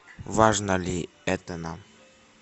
важно ли это нам